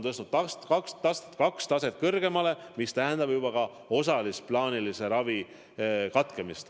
Haiglad on tõstnud kaks taset kõrgemale ja see tähendab ka osalist plaanilise ravi katkemist.